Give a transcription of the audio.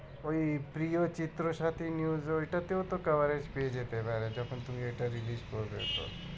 ওই প্রিয় চিত্র সাথী news ওইটাতে তো coverage পেয়ে যেতে পারে যখন তুমি ওইটা release করবে।